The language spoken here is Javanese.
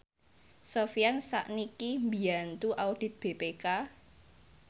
Sofyan sakniki mbiyantu audit BPK